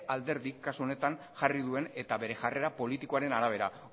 alderdi kasu honetan jarri duen eta bere jarrera politikoaren arabera